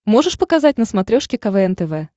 можешь показать на смотрешке квн тв